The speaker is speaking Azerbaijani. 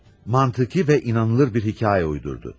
Məntiqi və inanılır bir hekayə uydurdu.